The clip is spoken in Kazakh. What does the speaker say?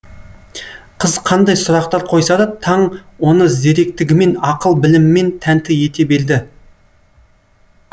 қыз қандай сұрақтар қойса да таң оны зеректігімен ақыл білімімен тәнті ете берді